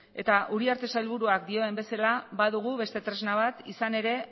eta uriarte sailburuak dioen bezala badugu beste tresna bat izan ere